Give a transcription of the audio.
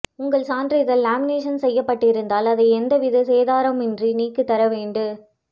உங்கள் சான்றிதழ் லாமினேசன் செய்யப்பட்டிருந்தால் அதை எந்தவித சேதாரமுமின்றி நீக்கித்தரவேண்டு